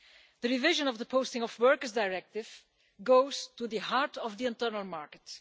The revision of the Posting of Workers Directive goes to the heart of the internal market.